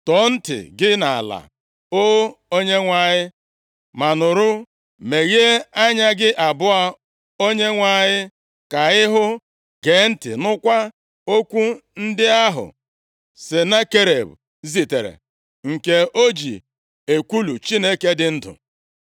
Tọọ ntị gị nʼala, o Onyenwe anyị ma nụrụ; meghee anya gị abụọ Onyenwe anyị, ka ịhụ; gee ntị nụkwa okwu ndị ahụ Senakerib zitere, nke o ji ekwulu Chineke dị ndụ.